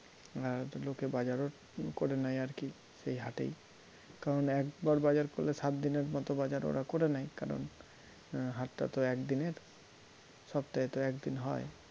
আর লোকে বাজারও করে নেয় আরকি এই হাটেই কারণ একবার বাজার করলে সাত দিনের মতো বাজার ওরা করে নেয় কারণ হাটটা তো একদিনের সপ্তাহে তো একদিন হয়